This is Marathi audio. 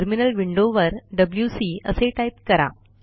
टर्मिनल विंडोवर डब्ल्यूसी असे टाईप करा